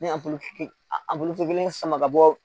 Ne abulu fitinin a bolo fitinin sama ka bɔ